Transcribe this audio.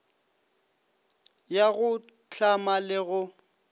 ya go hlama le go